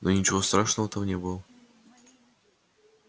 но ничего страшного там не было